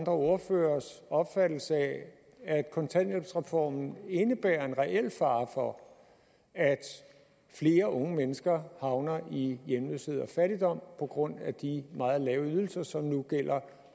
ordføreres opfattelse af at kontanthjælpsreformen indebærer en reel fare for at flere unge mennesker havner i hjemløshed og fattigdom på grund af de meget lave ydelser som nu gælder